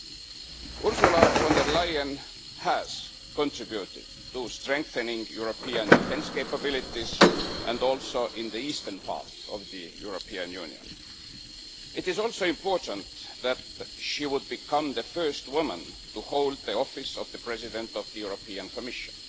Ursula von der Leyen has contributed to strengthening European defence capabilities and also in the eastern part of the European Union. It is also important that she would become the first woman to hold the office of the President of the European Commission.